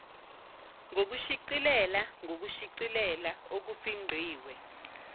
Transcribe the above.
ngokushicilela ngokushicilela okufingqiwe